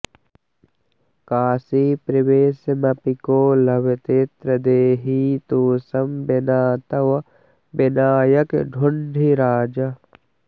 काशीप्रवेशमपि को लभतेऽत्र देही तोषं विना तव विनायकढुण्ढिराज